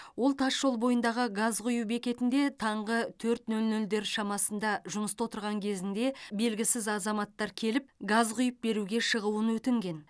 ол тасжол бойындағы газ құю бекетінде таңғы төрт нөл нөлдер шамасында жұмыста отырған кезінде белгісіз азаматтар келіп газ құйып беруге шығуын өтінген